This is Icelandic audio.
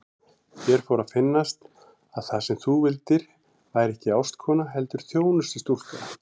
Mér fór að finnast að það sem þú vildir væri ekki ástkona heldur þjónustustúlka.